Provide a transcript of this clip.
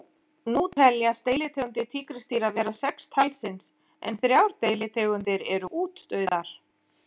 Spyrjandi bætti eftirfarandi spurningu við: